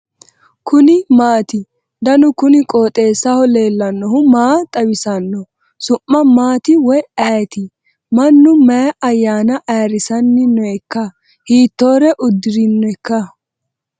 kuni maati ? danu kuni qooxeessaho leellannohu maa xawisanno su'mu maati woy ayeti ? mannu mayi ayyana ayirisanni nooikka hiitttore uddirinoiika